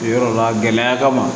Yɔrɔ la gɛlɛya kama